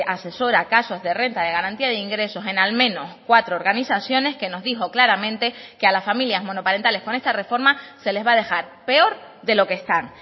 asesora casos de renta de garantía de ingresos en al menos cuatro organizaciones que nos dijo claramente que a las familias monoparentales con esta reforma se les va a dejar peor de lo que están